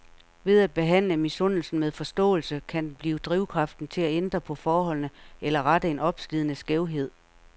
Ved at behandle misundelsen med forståelse, kan den blive drivkraften til at ændre på forholdene eller rette en opslidende skævhed.